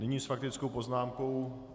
Nyní s faktickou poznámkou.